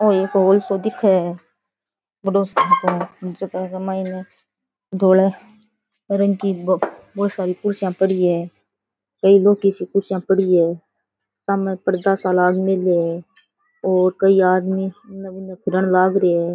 ओ एक हॉल सो दिखे है बढ़ो सार को जका के मायने धोला रंग की बहुत सारी कुर्सियां पड़ी है एक दो किसी कुर्सियां पड़ी है सामने पर्दा सा लाग मेल्या है और कई आदमी उन बुन फिरन लाग रहिया है।